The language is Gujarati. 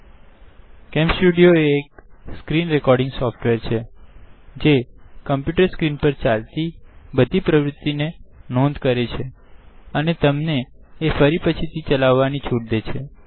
CamStudioકેમ સ્ટુડીઓએ screen રેકોર્ડિંગ સોફ્ટવેર છે જે કમ્પુટર સ્ક્રીન પર ચાલતી બધી પ્રવુતિ ની નોંધ લે છેઅને તમને ફરી પછી ચલાવાની છુટ દે છે